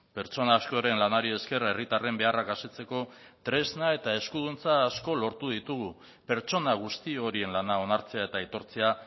pertsona askoren lanari esker herritarren beharrak asetzeko tresna eta eskuduntza asko lortu ditugu pertsona guzti horien lana onartzea eta aitortzea